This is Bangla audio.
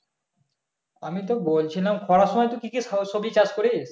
আমি তো বলছিলাম খরার সময় কি কি সব সবজি চাষ করিস